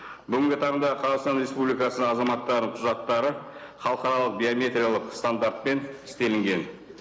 бүгінгі таңда қазақстан республикасының азаматтары құжаттары халықаралық биометриялық стандартпен істелінген